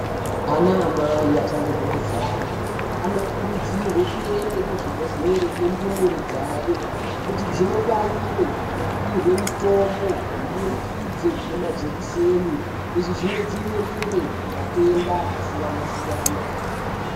Ana amai achangobve kuzvare anokurudzirwe kuende kuzvibhedhlere nendumure dzayo kuti dzinobaiyiwe nekupihwe mitombo kuburikidze nemajekiseni .Izvi zvinodzivirire matenda akasiyana -siyana.